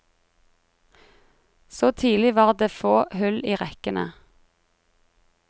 Så tidlig var det få hull i rekkene.